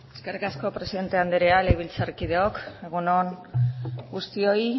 eskerrik asko presidente andrea legebiltzarkideok egun on guztioi